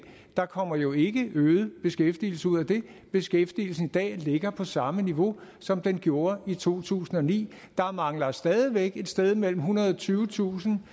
der kommer jo ikke øget beskæftigelse ud af det beskæftigelsen i dag ligger på samme niveau som den gjorde i to tusind og ni der mangler stadig væk et sted mellem ethundrede og tyvetusind